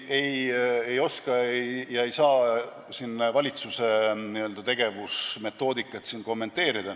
Ma ei oska ega saa siin valitsuse n-ö tegevusmetoodikat kommenteerida.